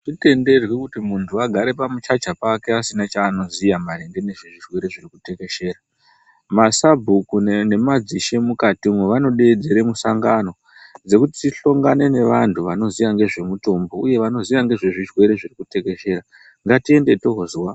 Atitenderwi kuti muntu agare pamuchacha pake asina chanoziya maringe nezvezvirwere zvirikutekeshera .MaSabhuku nemazishe mukatimwo vanodaidzire musangano vekuti tihlongane nevantu vanoziya ngezvemitombo uye vanoziya ngezvezvirwere zvirikuteshera.